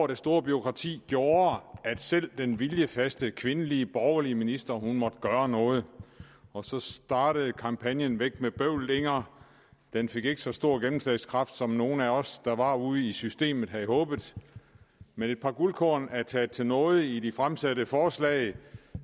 det store bureaukrati gjorde at selv den viljefaste kvindelige borgerlige minister måtte gøre noget og så startede kampagnen væk med bøvlet inger den fik ikke så stor gennemslagskraft som nogle af os der var ude i systemet havde håbet men et par guldkorn er taget til nåde i de fremsatte forslag